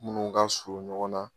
Munnu ka surun ɲɔgɔn na